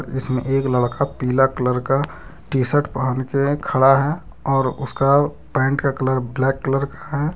इसमें एक लड़का पिला कलर का टी_शर्ट पहन के खड़ा है और उसका पेंट का कलर ब्लैक कलर का है।